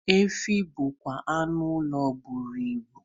Efi bụkwa anụ ụlọ buru ibu